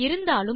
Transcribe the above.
இருந்தாலும்